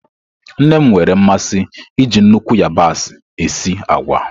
Nne m nwere mmasị iji nnukwu yabasị esi agwa.